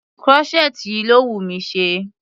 Crochet yìí ló wùnmí ṣe.